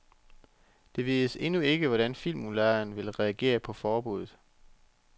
Det vides endnu ikke, hvordan filmudlejeren vil reagere på forbudet.